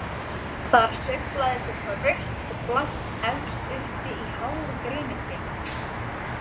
Þar sveiflaðist eitthvað rautt og blátt efst uppi í háu grenitré.